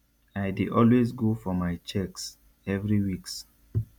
i dey always go for my checks every weeks